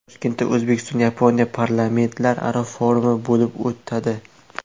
Toshkentda O‘zbekiston-Yaponiya parlamentlararo forumi bo‘lib o‘tadi.